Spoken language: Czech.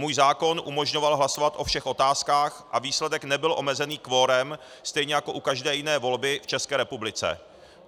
Můj zákon umožňoval hlasovat o všech otázkách a výsledek nebyl omezený kvorem, stejně jako u každé jiné volby v České republice.